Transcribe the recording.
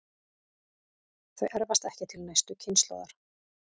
Þau erfast ekki til næstu kynslóðar.